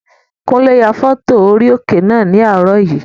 Kúnlé ya fọ́tò orí òkè náà ní àárọ̀ yìí